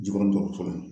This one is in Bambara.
Ji kɔrɔ dɔgɔtɔrɔso la